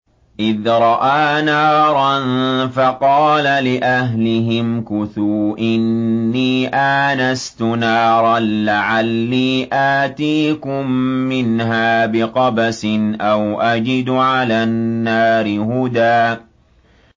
إِذْ رَأَىٰ نَارًا فَقَالَ لِأَهْلِهِ امْكُثُوا إِنِّي آنَسْتُ نَارًا لَّعَلِّي آتِيكُم مِّنْهَا بِقَبَسٍ أَوْ أَجِدُ عَلَى النَّارِ هُدًى